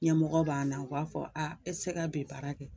Ɲɛmɔgɔ b'a na, u b'a fɔ e ti se ka bi baara kɛ